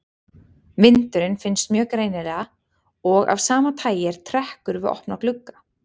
Vindurinn finnst mjög greinilega og af sama tagi er trekkur við opna glugga.